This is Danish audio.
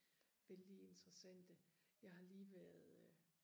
vældig interessante jeg har lige været øh